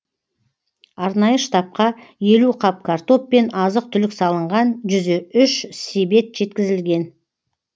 арнайы штабқа елу қап картоп пен азық түлік салынған жүз үш себет жеткізілген